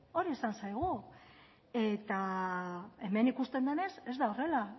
hori esan zaigu eta hemen ikusten denez ez da horrela